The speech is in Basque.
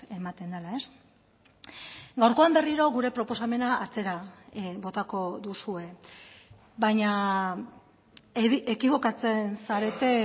ematen dela gaurkoan berriro gure proposamena atzera botako duzue baina ekibokatzen zarete